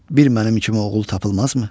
Bir mənim kimi oğul tapılmazmı?